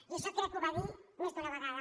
i això crec que ho va dir més d’una vegada